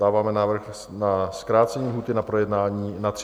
Dáváme návrh na zkrácení lhůty na projednání na 30 dnů.